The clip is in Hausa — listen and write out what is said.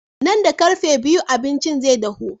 Nan da ƙarfe biyu abincin zai dahu.